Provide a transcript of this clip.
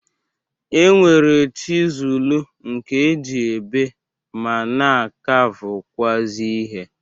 E nwere chizulu nke e ji ebe ma na-akavụkwụazị ihe.